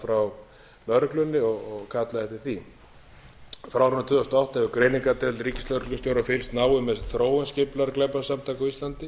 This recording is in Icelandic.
frá lögreglunni og kallað eftir því frá árinu tvö þúsund og átta hefur greiningardeild ríkislögreglustjóra fylgst náið með þróun skipulagðra glæpasamtaka á íslandi